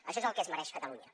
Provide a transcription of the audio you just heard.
això és el que es mereix catalunya